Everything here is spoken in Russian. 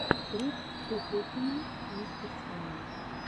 трек куколкина мастерская